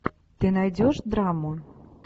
ты найдешь драму